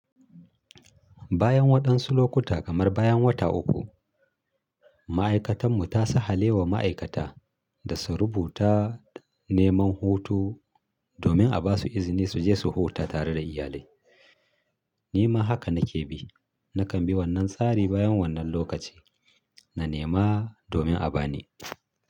Bayan waɗansu lokuta kamar bayan wata uku, ma'aikatar mu ta sa hale wa ma'aikata da su rubuta neman hutu domin a ba su izini su je su huta tare da iyalai. Nima haka na ke bi. Na kan bi wannan tsari bayan wannan lokaci, na nema domin a ba ni.